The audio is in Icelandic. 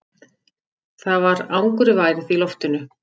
Það var angurværð í loftinu.